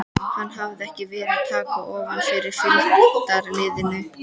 Hann hafði ekki verið að taka ofan fyrir fylgdarliðinu.